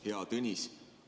Hea Tõnis!